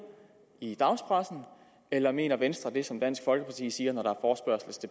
i dagspressen eller mener venstre det som dansk folkeparti siger når der